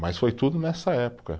Mas foi tudo nessa época.